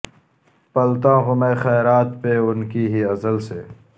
پلتا ہوں میں خیرات پہ ان کی ہی ازل سے